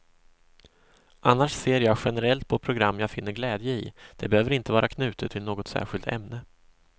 Annars ser jag generellt på program jag finner glädje i, det behöver inte vara knutet till något särskilt ämne.